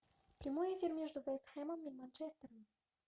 прямой эфир между вест хэмом и манчестером